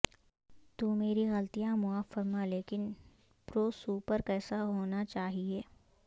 تو میری غلطیاں معاف فرما لیکن پروسوپر کیسا ہونا چاہئے